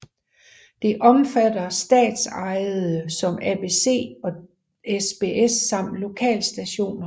Det omfatter statsejede som ABC og SBS samt lokalstationer